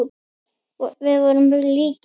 Við vorum líkir.